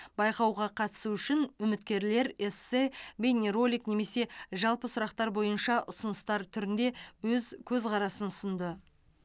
байқауға қатысу үшін үміткерлер эссе бейнеролик немесе жалпы сұрақтар бойынша ұсыныстар түрінде өз көзқарасын ұсынды